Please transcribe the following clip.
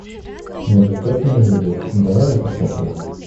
неадекватные люди давай я посмотрю